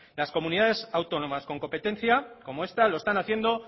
las comunidades autónomas con competencia como esta lo están haciendo